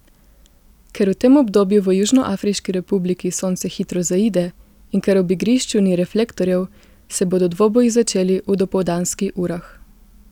Ker v tem obdobju v Južnoafriški republiki sonce hitro zaide in ker ob igrišču ni reflektorjev, se bodo dvoboji začeli v dopoldanski urah.